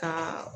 Ka